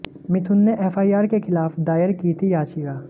मिथुन ने एफआईआर के खिलाफ दायर की थी याचिका